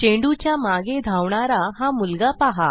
चेंडूच्या मागे धावणारा हा मुलगा पहा